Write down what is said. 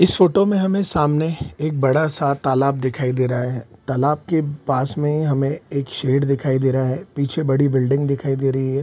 इस फोटो में हमें सामने एक बड़ा सा तालाब दिखाई दे रहा है। तालाब के पास में हमें एक शेड दिखाई दे रहा है। पीछे बड़ी बिल्डिंग दिखाई दे रही है।